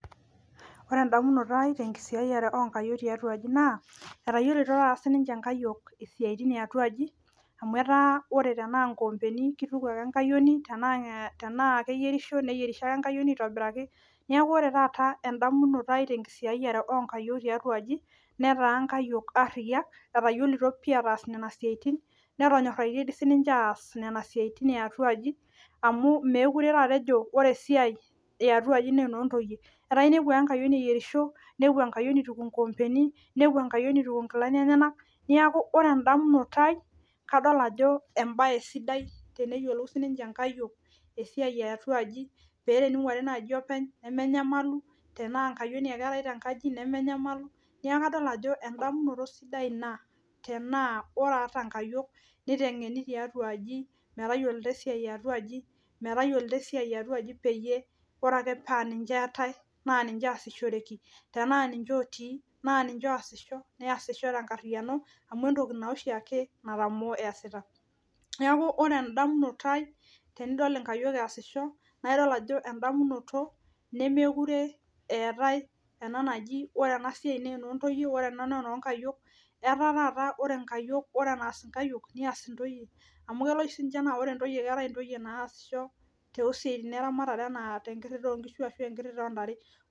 Ore endamunoto aai tenkisiayiare oonkayiok tiatua aji naa etayiolito taata siininche inkayiok esiiai yaatuaji amu etaa ore tenaa inkombeni keituku ake. inkayiok tenaa keiyierisho neyierisho ake enkayioni aitobiraki ore taata emdamunoto aai tenkisiayiare oonkayiok tiatua aji netaa nkayiol ariyiak etayiolito inkayiok ataas nena siaitin netonyoraitie doi siininche aaas nena siaitin yaatuaji amu meekure taata ejo ore esiai yiaaatuaji jaa enoontoyie etaa inepu ale enkayioni eyierisho nituku inkoompeni ninepu enkayioni eituku inkilani enyanak niaku ore endamunoto aai kadol ajo embaye sidai teneyiolou siininche inkayiok esiai eeatuaji peetening'uari naaji openy nemenyamalu tenaa enkayioni ake eetai tenkaji nemenyamalu neeku kadol. ajo endamunoto sidai ina tenaa ore ata inkayiok neiteng'eni tiatu aji metayiolito esia yaatuaji peyie pre ake paaninche eetai neesishoreki tenaa ninche ootii naa ninche oosisho neesisho tenkariano naa entoki naa oshiake natamaooo eesiata neeku ore endamunoto aaai tenidol inkayiok eesisho naa idol endamunoto nemekuure eetai eji ore enasiai naa enoontoyie ore ena naa enoonkayiok etaa taata ore enaes inkayiok nias intoyie amu kelo oshi sii ninye neeku keetai intoyie naashisho toosiatin eramatare enaa enkirira oonkishu ashuu enoontare.